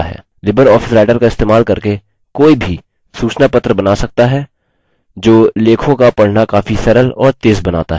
Libre office writer का इस्तेमाल करके कोई भी सूचनापत्र बना सकता है जो लेखों का पढना काफी सरल और तेज़ बनाता है